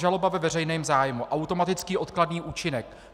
Žaloba ve veřejném zájmu, automatický odkladný účinek.